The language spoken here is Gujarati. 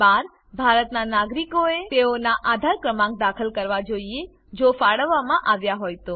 12 ભારતનાં નાગરિકોએ તેઓનાં આધાર ક્રમાંક દાખલ કરવા જોઈએ જો ફાળવવામાં આવ્યા હોય તો